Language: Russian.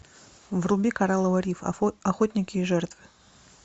вруби коралловый риф охотники и жертвы